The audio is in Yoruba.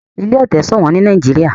ilé ete ṣowón ní Nàìjíríà.